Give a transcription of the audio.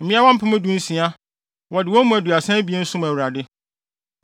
mmeawa mpem dunsia (16,000); wɔde wɔn mu aduasa abien (32) som Awurade.